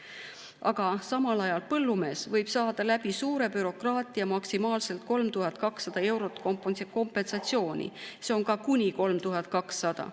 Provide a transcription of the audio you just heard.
Aga samal ajal põllumees võib saada suure bürokraatia kaudu maksimaalselt 3200 eurot kompensatsiooni, see on kuni 3200.